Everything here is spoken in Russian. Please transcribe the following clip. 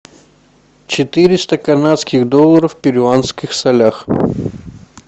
четыреста канадских долларов в перуанских солях